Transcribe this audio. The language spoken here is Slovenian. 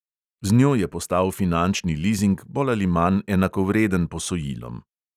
Z njo je postal finančni lizing bolj ali manj enakovreden posojilom.